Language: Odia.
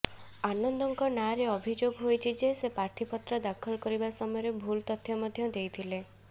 ଆନନ୍ଦଙ୍କ ନାଁରେ ଅଭିଯୋଗ ହୋଇଛି ଯେ ସେ ପ୍ରାର୍ଥୀପତ୍ର ଦାଖଲ କରିବା ସମୟରେ ଭୁଲ ତଥ୍ୟ ମଧ୍ୟ ଦେଇଥିଲେ